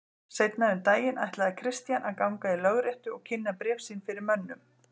Seinna um daginn ætlaði Christian að ganga í lögréttu og kynna bréf sín fyrir mönnum.